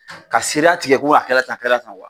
Ka sira tigɛ ko a kɛrɛ tan a kɛra tan wa